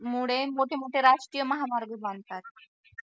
मुळे मोठे मोठे राजकीय महामार्ग बांधतात